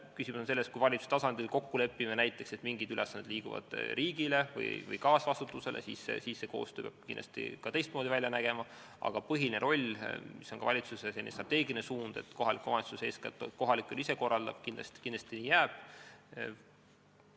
Küsimus on selles, et kui me valitsuse tasandil kokku lepime näiteks, et mingid ülesanded liiguvad riigile või lähevad kaasvastutusele, siis see koostöö peab kindlasti teistmoodi välja nägema, aga põhiline roll, mis on ka valitsuse strateegiline suund, et kohalik omavalitsus eeskätt kohalikke asju ise korraldab, kindlasti jääb.